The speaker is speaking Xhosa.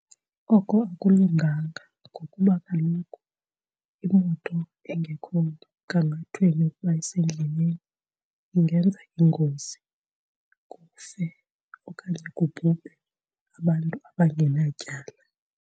Oko akulunganga ngokuba kaloku imoto engekho mgangathweni yokuba isendleleni ingenza ingozi kufe okanye kubhubhe abantu abangenatyala.